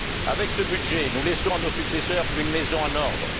Avec ce budget, nous laissons à nos successeurs une Maison en ordre.